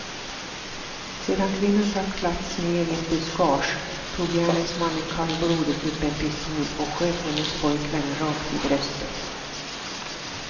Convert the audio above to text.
Sedan kvinnan tacklats ner i ett buskage tog gärningsmannen kallblodigt upp en pistol och sköt hennes pojkvän rakt i bröstet.